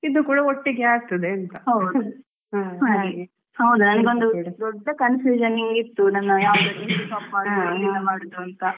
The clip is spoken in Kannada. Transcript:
ಹೌದು. ನಾವ್ ಬೇರೆ ಕಡೆ ಹೋಗ್ವಾಗ ಇದು ಕೂಡ ಒಟ್ಟಿಗೆ ಆಗ್ತದೆ ಅಂತ